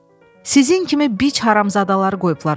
Sizin kimi biç haramzadaları qoyublar ora.